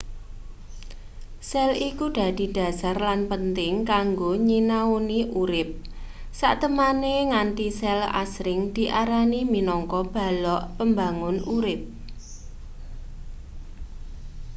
sel iku dadi dhasar lan penting kanggo nyinaoni urip satemene nganthi sel asring diarani minangka balok pembangun urip